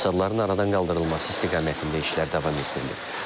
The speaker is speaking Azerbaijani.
Fəsadların aradan qaldırılması istiqamətində işlər davam etdirilib.